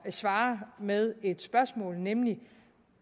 svare med et spørgsmål nemlig